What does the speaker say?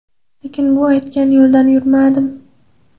Lekin men u aytgan yo‘ldan yurmadim.